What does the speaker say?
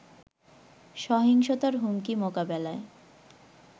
সহিংসতার হুমকি মোকাবেলায়